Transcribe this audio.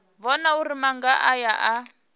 vhona uri maga aya a